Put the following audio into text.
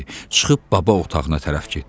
Çıxıb baba otağına tərəf getdi.